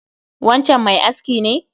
Wancan mai aski ne?